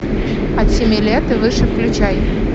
от семи лет и выше включай